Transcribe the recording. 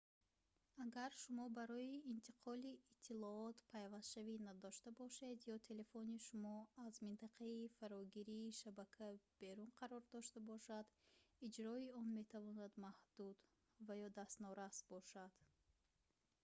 агар шумо барои интиқоли иттилоот пайвастшавӣ надошта бошед ё телефони шумо аз минтақаи фарогирии шабака берун қарор дошта бошад иҷрои он метавонад маҳдуд ва ё дастнорас бошад